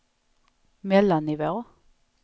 mellannivå